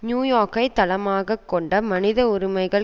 new யோர்க்கை தளமாக கொண்ட மனித உரிமைகள்